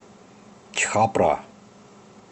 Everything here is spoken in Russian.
чхапра